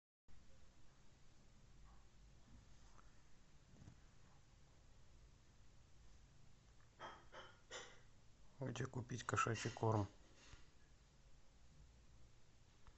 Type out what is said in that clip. где купить кошачий корм